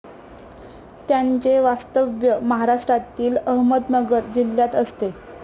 त्यांचे वास्तव्य महाराष्ट्रातील अहमदनगर जिल्ह्यात असते.